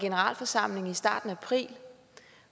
generalforsamling i starten af april